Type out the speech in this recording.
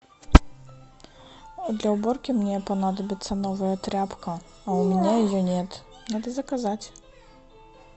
для уборки мне понадобится новая тряпка а у меня ее нет надо заказать